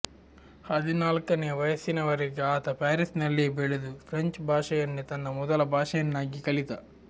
ಹದಿನಾಲ್ಕನೆಯ ವಯಸ್ಸಿನವರೆಗೆ ಆತ ಪ್ಯಾರಿಸಿನಲ್ಲಿಯೇ ಬೆಳೆದು ಫ್ರೆಂಚ್ ಭಾಷೆಯನ್ನೇ ತನ್ನ ಮೊದಲ ಭಾಷೆಯನ್ನಾಗಿ ಕಲಿತ